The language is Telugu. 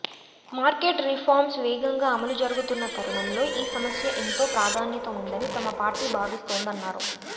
మార్కెట్ రిఫార్మ్స్ వేగంగా అమలు జరుగుతున్న తరుణంలో ఈ సమస్య ఎంతో ప్రాధాన్యత ఉందని తమ పార్టీ భావిస్తోంద న్నారు